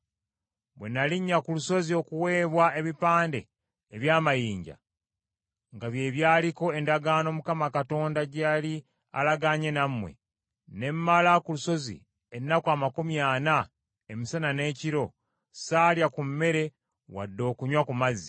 Bwe nalinnya ku lusozi okuweebwa ebipande eby’amayinja, nga bye byaliko endagaano Mukama Katonda gye yali alagaanye nammwe, ne mmala ku lusozi ennaku amakumi ana emisana n’ekiro, saalya ku mmere wadde okunywa ku mazzi.